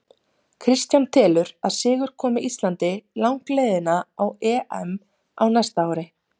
Kristján telur að sigur komi Íslandi langleiðina á EM á næsta ári.